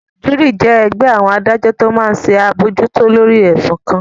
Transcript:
Júúrì jẹ́ ẹgbẹ́ àwọn adájọ́ tó máa n ṣe àbojútó lórí ẹ̀sùn kan